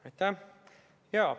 Aitäh!